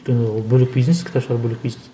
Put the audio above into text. өйткені ол бөлек бизнес кітап шығару бөлек бизнес